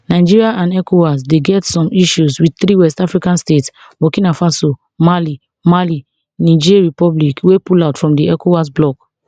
nigeria and ecowas dey get some issues wit three west african states burkina faso mali mali niger republicwey pullout from di ecowas bloc